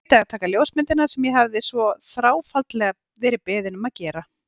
Gleymdi að taka ljósmyndirnar sem ég hafði svo þráfaldlega verið beðinn um að gera.